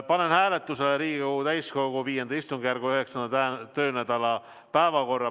Panen hääletusele Riigikogu täiskogu V istungjärgu 9. töönädala päevakorra.